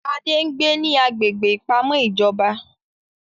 Adé ń gbé ní agbègbè ìpamọ́ ìjọba